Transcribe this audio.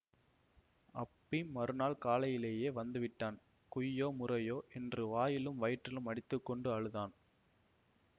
அப்பி மறுநாள் காலையிலேயே வந்துவிட்டான் குய்யோ முறையோ என்று வாயிலும் வயிற்றிலும் அடித்துக்கொண்டு அழுதான்